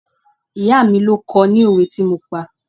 Ìyá mi ló kọ́ I ní òwe tí mo pa.